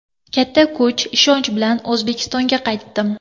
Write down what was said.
Katta kuch, ishonch bilan O‘zbekistonga qaytdim.